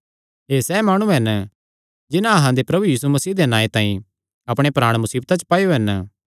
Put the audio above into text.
एह़ सैह़ माणु हन जिन्हां अहां दे प्रभु यीशु मसीह दे नांऐ तांई अपणे प्राण मुसीबता च पाएयो हन